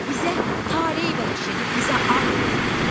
Bizə tale bəxş edib bizə ad verənlərə.